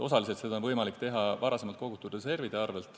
Osaliselt on seda võimalik teha varem kogutud reservide arvel.